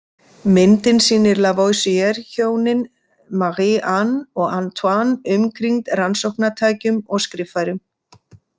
Myndin sýnir Lavoisier-hjónin, Marie-Anne og Antoine, umkringd rannsóknatækjum og skriffærum.